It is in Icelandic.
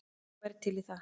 Já, ég væri til í það.